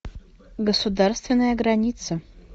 государственная граница